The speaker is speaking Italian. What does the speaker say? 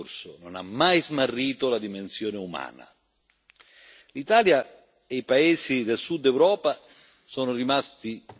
L'Italia e i paesi del Sud Europa sono rimasti da soli ad affrontare questa immensa emergenza.